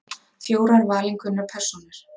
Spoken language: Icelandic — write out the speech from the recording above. Fjórar valinkunnar persónur.